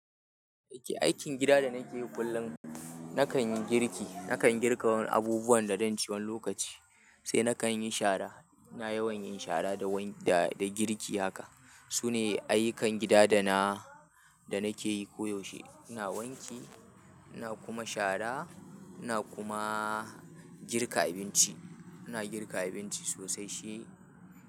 Aikin gida da nake yi kullum, nakan yi girki, nakan girka abubuwan da zan ci wani lokaci, sai nakan yi shara. iNa yawan yin shara da wani da, da girki haka. Sune ayyukan gida da na, da nake yi koyaushe. iNa wanke, ina kuma shara, ina kuma girka abinci. iNa girka abinci sosai she.